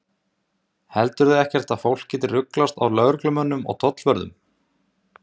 Lillý Valgerður Pétursdóttir: Heldurðu ekkert að fólk geti ruglast á lögreglumönnum og tollvörðum?